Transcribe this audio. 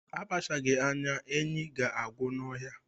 Akpachaghi anya, enyi ga-agwụ n'ọhịa